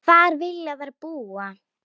Hvar vilja þær búa?